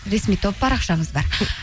ресми топ парақшамыз бар